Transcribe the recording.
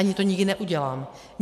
Ani to nikdy neudělám.